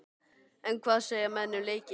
En hvað segja menn um leikinn?